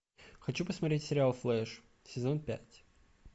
хочу посмотреть сериал флэш сезон пять